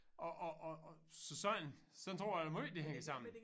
Og og og og så sådan sådan tror jeg da måj det hænger sammen